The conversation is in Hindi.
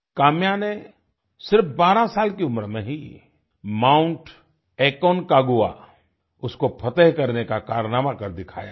काम्या ने सिर्फ बारह साल की उम्र में ही माउंट एकोनकागुआ उसको फ़तेह करने का कारनामा कर दिखाया है